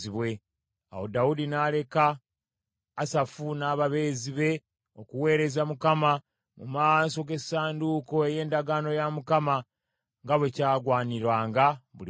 Awo Dawudi n’aleka Asafu n’ababeezi be, okuweereza Mukama mu maaso g’essanduuko ey’endagaano ya Mukama , nga bwe kyagwaniranga buli lunaku.